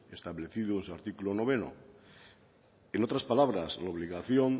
establecidos en el artículo noveno en otras palabras la obligación